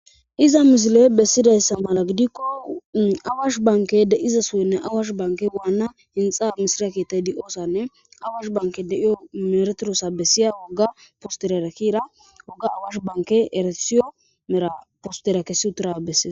iza misile bessidayssa mala gidikko awash banke de7iza sohoynne awaash banke waana hinxa mishira keettaydi oossanne awash banke de7iyo meretirosa bessiya wogga posterera kiira wogga awash banke erasiyo mera postera kessitura besse.